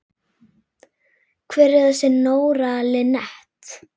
Hver er þessi Nóra Linnet?